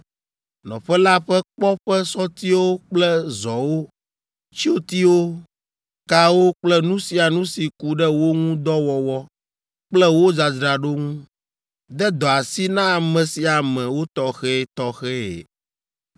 nɔƒe la ƒe kpɔ ƒe sɔtiwo kple zɔwo, tsyotiwo, kawo kple nu sia nu si ku ɖe wo ŋu dɔ wɔwɔ kple wo dzadzraɖo ŋu. De dɔ asi na ame sia ame wotɔxɛtɔxɛe.